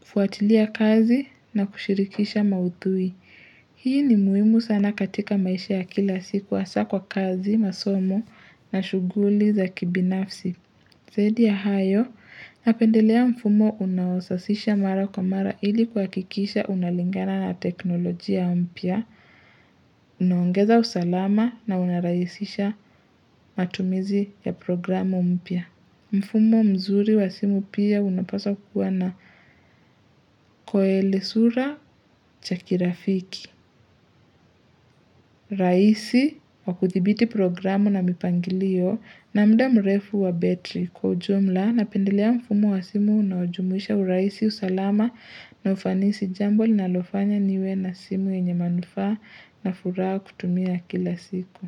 kufuatilia kazi na kushirikisha mauthui. Hii ni muhimu sana katika maisha ya kila siku hasa kwa kazi, masomo na shughuli zaki binafsi. Zaidi ya hayo, napendelea mfumo unaosasisha mara kwa mara ili kuha kikisha unalingana na teknolojia mpya, unaongeza usalama na unarahisisha matumizi ya programu mpya. Mfumo mzuri wa simu pia unapaswa kuwa na koeli sura chakirafiki. Rahisi wa kuthibiti programu na mipangilio na mda mrefu wa betri kwa jumla, na pendelea mfumo wa simu na ujumuisha urahisi usalama na ufanisi jambo linalofanya niwe na simu yenye manufaa na furaha kutumia kila siku.